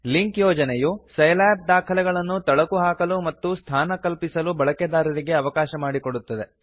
link ಯೋಜನೆಯು Scilab ದಾಖಲೆಗಳನ್ನು ತಳಕು ಹಾಕಲು ಮತ್ತು ಸ್ಥಾನ ಕಲ್ಪಿಸಲು ಬಳಕೆದಾರರಿಗೆ ಅವಕಾಶ ಕೊಡುತ್ತದೆ